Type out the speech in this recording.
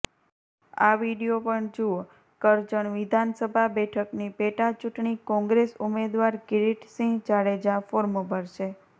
આ વીડિયો પણ જુઓઃ કરજણ વિધાનસભા બેઠકની પેટાચૂંટણી કોંગ્રેસ ઉમેદવાર કિરીટસિંહ જાડેજા ફોર્મ ભરશે